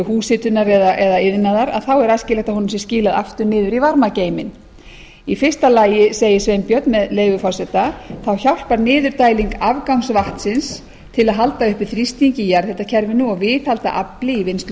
húshitunar eða iðnaðar þá er æskilegt að honum sé skilað aftur niður í varmageyminn sveinbjörn segir með leyfi forseta í fyrsta lagi hjálpar niðurdæling afgangsvatns til að halda uppi þrýstingi í jarðhitakerfinu og viðhalda afli í